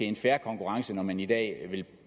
en fair konkurrence når man i dag vil